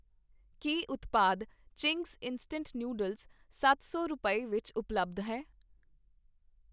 ਕੀ ਉਤਪਾਦ Ching's instant noodles ਸੱਤ ਸੌ ਰੁਪਏ, ਵਿੱਚ ਉਪਲੱਬਧ ਹੈ?